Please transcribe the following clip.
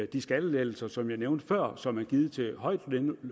de skattelettelser som jeg nævnte før og som er givet til højtlønnede